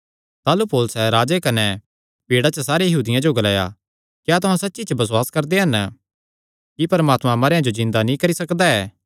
ताह़लू पौलुसैं राजे कने भीड़ा च सारे यहूदियां जो ग्लाया क्या तुहां सच्ची च बसुआस करदे हन कि परमात्मा मरेयां जो जिन्दा नीं करी सकदा ऐ